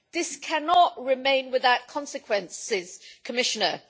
this cannot remain without consequences, Commissioner.